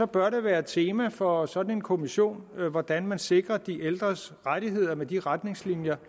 bør det være et tema for sådan en kommission hvordan man sikrer de ældres rettigheder med de retningslinjer